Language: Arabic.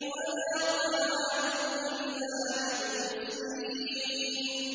وَلَا طَعَامٌ إِلَّا مِنْ غِسْلِينٍ